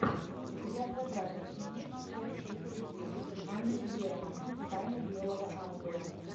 у тебя в загашнике есть часть тридцать девять анна герман тайна белого ангела